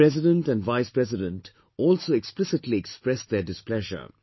The President and Vice President also explicitly expressed their displeasure